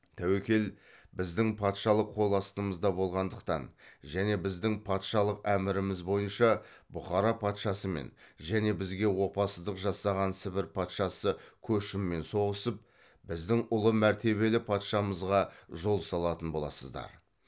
тәуекел біздің патшалық қол астымызда болғандықтан және біздің патшалық әміріміз бойынша бұхара патшасымен және бізге опасыздық жасаған сібір патшасы көшіммен соғысып біздің ұлы мәртебелі патшамызға жол салатын боласыздар